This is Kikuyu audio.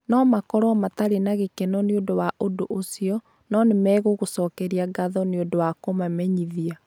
No makorũo matarĩ na gĩkeno nĩ ũndũ wa ũndũ ũcio, no nĩ megũgũcokeria ngatho nĩ ũndũ wa kũmamenyithia.